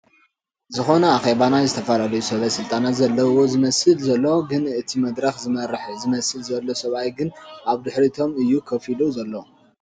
ዝኾነ ኣኼባ ናይ ዝተፈላለዩ ሰበ ስልጣናት ዘለውዎ እዩ ዝመስል ዘሎ፡ ግን እቲ መድረኽ ዝመርሕ ዝመስል ዘሎ ሰብኣይ ግን ኣብ ድሕሪቶም እዩ ከፍ ኢሉ ዘሎ ።